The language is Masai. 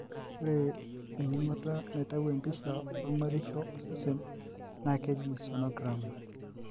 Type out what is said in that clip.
Ore eningoto naitayu empisha olmoirisho osesen na kejii sonogram.